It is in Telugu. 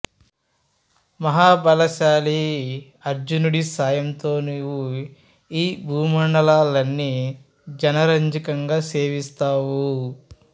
మహాబలశాలి అర్జునుడి సాయంతో నీవు ఈ భూమండలాన్ని జనరంజకంగా సేవిస్తావు